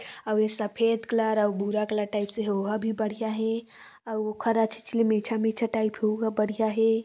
अउ ए सफेद कलर अउ भूरा कलर टाइप से हे ओहा भी बढ़िया हे अउ खरा छीचली टाइप हेओहु बढ़िया हे ।